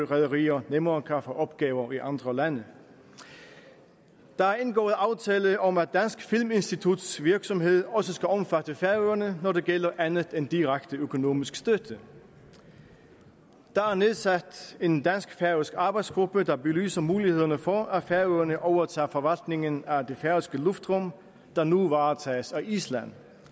rederier nemmere kan få opgaver i andre lande der er indgået aftale om at det danske filminstituts virksomhed også skal omfatte færøerne når det gælder andet end direkte økonomisk støtte der er nedsat en dansk færøsk arbejdsgruppe der belyser mulighederne for at færøerne overtager forvaltningen af det færøske luftrum der nu varetages af island